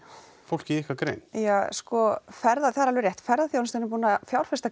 fólk í ykkar grein ja sko það er alveg rétt ferðaþjónustan er búin að fjárfesta